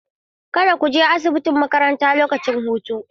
Kada ku je asibitin makaranta lokacin hutu.